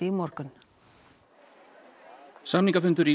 í morgun samningafundur